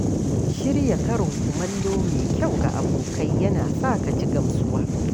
Shirya karin kumallo mai kyau ga abokai yana sa ka ji gamsuwa.